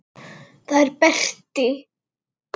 Það er Berti.